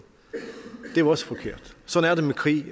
det var også forkert sådan er det med krig